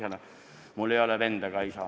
Väikese vihjena: mul ei ole venda ega isa.